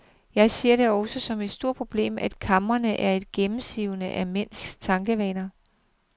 Jeg ser det også som et stort problem, at kamrene er så gennemsivede af mænds tankevaner.